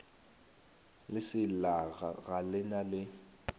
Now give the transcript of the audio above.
leselaga ga le na le